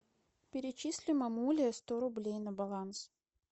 перечисли мамуле сто рублей на баланс